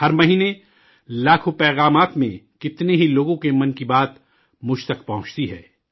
ہر مہینے، لاکھوں پیغامات میں، کتنے ہی لوگوں کے 'من کی بات' مجھ تک پہنچتی ہے